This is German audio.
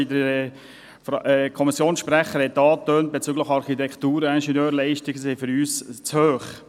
Wie der Kommissionssprecher angetönt hat, sind die Kosten für die Architektur- und Ingenieurleistungen für uns zu hoch.